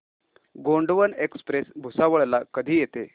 Gondwana express Bhusawal ला कधी येते